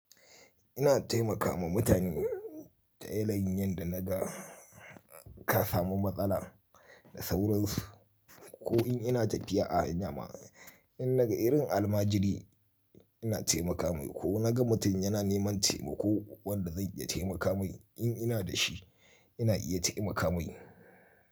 Ina taimaka ma mutane ta yanayin yanda naga ka samu matsala da sauransu ko in ina tafiya a hanya ma in naga irin almajiri ina taimaka mai ko naga mutum yana neman taimako wanda zan iya taimaka mai in ina da shi ina iya taimaka mai.